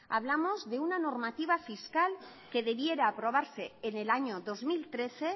hablamos de una normativa fiscal que debiera aprobarse en el año dos mil trece